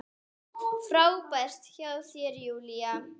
Frábært hjá þér, Júlía!